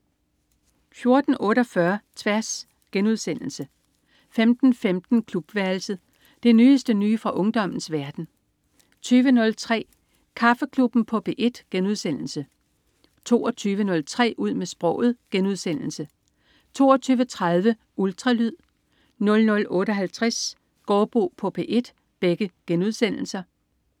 14.48 Tværs* 15.15 Klubværelset. Det nyeste nye fra ungdommens verden 20.03 Kaffeklubben på P1* 22.03 Ud med sproget* 22.30 Ultralyd* 00.58 Gaardbo på P1*